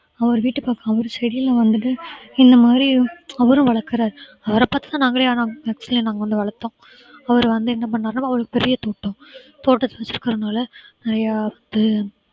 அவர் வீட்டு பக்கம் அவரு செடியில வந்துட்டு இந்த மாதிரி அவரும் வளர்க்கிறாரு அவர பார்த்து தான் நாங்களே ஆனா மெத்தையில நாங்க வந்து வளர்த்தோம் அவரு வந்து என்ன பண்ணாருன்னா அவர் பெரிய தோட்டம் தோட்டத்தை வெச்சிருக்கிறதுனால